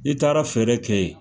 I taara feere kɛ yen.